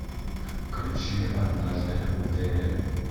включи однажды в дели